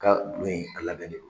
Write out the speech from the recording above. Ka bu in a labɛn dɛ.